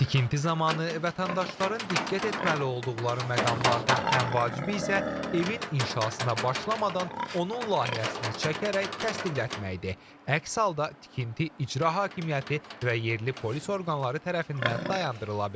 Tikinti zamanı vətəndaşların diqqət etməli olduqları məqamlardan ən vacibi isə evin inşasına başlamadan onun layihəsini çəkərək təsdiqlətməkdir, əks halda tikinti icra hakimiyyəti və yerli polis orqanları tərəfindən dayandırıla bilər.